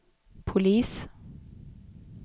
polis